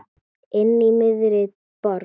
Inní miðri borg.